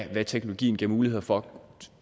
hvad teknologien giver muligheder for